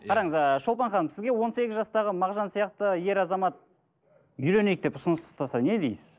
қараңыз ы шолпан ханым сізге он сегіз жастағы мағжан сияқты ер азамат үйленейік деп ұсыныс тастаса не дейсіз